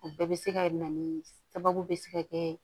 O bɛɛ bɛ se ka na ni sababu bɛ se ka kɛ